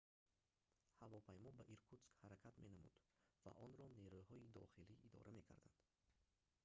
ҳавопаймо ба иркутск ҳаракат менамуд ва онро нерӯҳои дохилӣ идора мекарданд